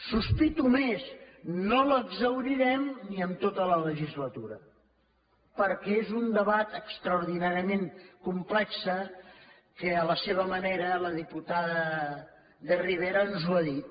sospito més no l’exhaurirem ni en tota la legislatura perquè és un debat extraordinàriament complex que a la seva manera la diputada de rivera ens ho ha dit